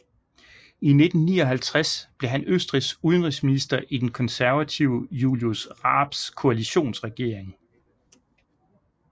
I 1959 blev han Østrigs udenrigsminister i den konservative Julius Raabs koalitionsregering